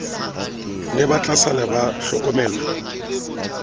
ne ba tlasala ba hlokomelwa